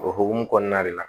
O hokumu kɔnɔna de la